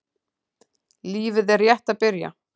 Lífið er rétt að byrja.